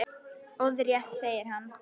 Orðrétt segir þar